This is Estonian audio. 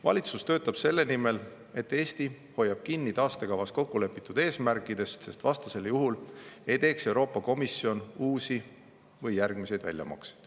Valitsus töötab selle nimel, et Eesti hoiab kinni taastekavas kokku lepitud eesmärkidest, sest vastasel juhul ei teeks Euroopa Komisjon uusi või järgmiseid väljamakseid.